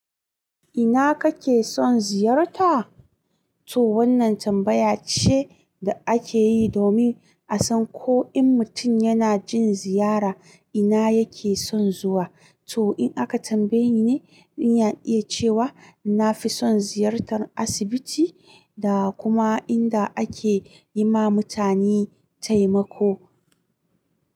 Ina kake son ziyarta? To wannan tambaya ce da akeyi domin a san ko in mutum yana jin ziyara ina yake son zuwa. To in aka tambaye ni, ni na iya cewa na fi son ziyartar asibiti da kuma inda ake yi ma mutane taimako.